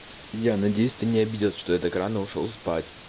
я надеюсь ты не обиделась что я так рано ушёл спать